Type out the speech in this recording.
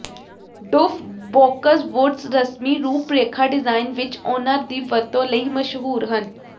dwarf boxwoods ਰਸਮੀ ਰੂਪਰੇਖਾ design ਵਿਚ ਉਹਨਾਂ ਦੀ ਵਰਤੋਂ ਲਈ ਮਸ਼ਹੂਰ ਹਨ